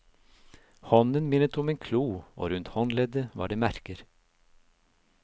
Hånden minnet om en klo, og rundt håndleddet var det merker.